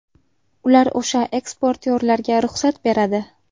Ular o‘sha eksportyorlarga ruxsat beradi.